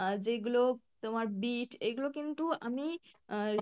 আহ যেগুলো তোমার বিট এইগুলো কিন্তু অমি আহ